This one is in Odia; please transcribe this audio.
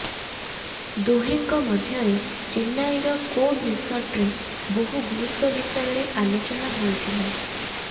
ଦୁହେଁଙ୍କ ମଧ୍ୟରେ ଚେନ୍ନାଇର କୋବ୍ ରିସର୍ଟରେ ବହୁ ଗୁରୁତ୍ୱ ବିଷୟରେ ଆଲୋଚନା ହୋଇଥିଲା